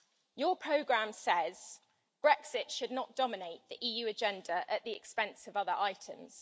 Your programme says Brexit should not dominate the EU agenda at the expense of other items.